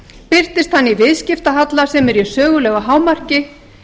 birtist hann í viðskiptahalla sem er í sögulegu hámarki